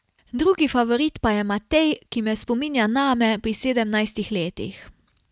Drugi favorit pa je Matej, ki me spominja name pri sedemnajstih letih.